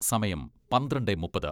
സമയം പന്ത്രണ്ടെ മുപ്പത്